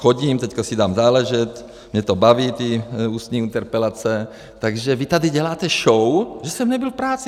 Chodím, teďka si dám záležet, mě to baví, ty ústní interpelace, takže vy tady děláte show, že jsem nebyl v práci.